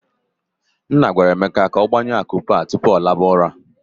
Nna gwara Emeka ka ọ gbanyu akụ a tupu ọ laba ụra.